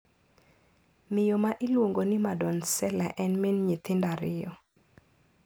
Miyo ma iluongo ni Madonsela en min nyithindo ariyo.